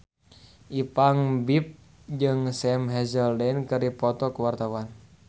Ipank BIP jeung Sam Hazeldine keur dipoto ku wartawan